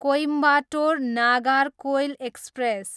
Coimbatore, Nagercoil express